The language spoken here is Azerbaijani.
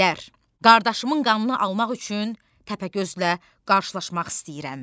Bəylər, qardaşımın qanını almaq üçün Təpəgözlə qarşılaşmaq istəyirəm.